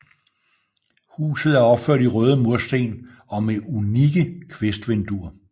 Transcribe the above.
Huset er opført i røde mursten og med unikke kvistvinduer